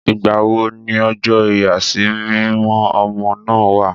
Ìgbà wo ni ọjọ́ ìyàsímímọ́ ọmọ náà wà?